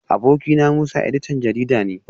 Abokina Musa editan jarida ne